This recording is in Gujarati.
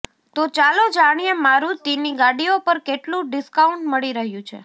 તો ચાલો જાણીએ મારૂતિની ગાડીઓ પર કેટલું ડિસ્કાઉન્ટ મળી રહ્યું છે